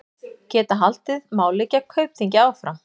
Geta haldið máli gegn Kaupþingi áfram